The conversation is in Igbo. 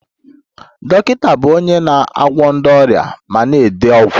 Dọkịta bụ onye na-agwọ ndị ọrịa ma na-ede ọgwụ